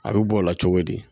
A bɛ bɔ o la cogo di